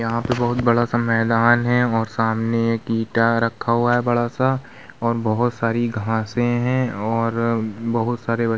यहाँ पे बोहोत बड़ा सा मैदान है और सामने एक ईटा रखा हुआ है बड़ा सा और बोहोत हरी घासे हैं और बोहोत सारे बच्चे --